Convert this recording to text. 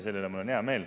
Selle üle mul on hea meel.